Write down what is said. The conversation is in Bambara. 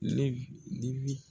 Levi